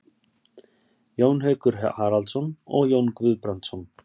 Jón Haukur Haraldsson og Jón Guðbrandsson.